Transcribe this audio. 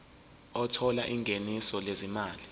othola ingeniso lezimali